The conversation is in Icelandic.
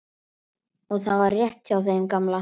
Og það var rétt hjá þeim gamla.